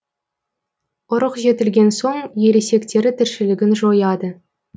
ұрық жетілген соң ересектері тіршілігін жояды